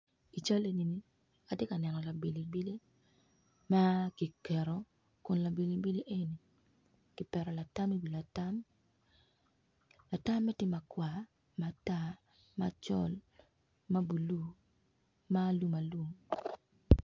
I cal eni atye ka neno labilibili ma tye i nge latam, latam eni tye ma alum aluma.